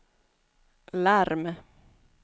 larm